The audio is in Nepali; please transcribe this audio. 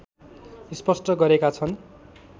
स्पष्ट गरेका छन्